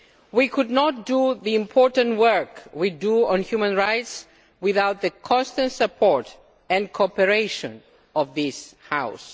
We could not do the important work we do on human rights without the constant support and cooperation of this House.